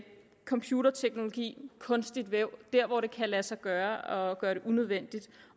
computerteknologi og kunstigt væv hvor det kan lade sig gøre at gøre det unødvendigt